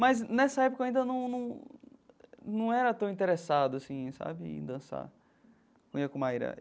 Mas nessa época eu ainda num num num era tão interessado assim sabe em dançar né com Maira.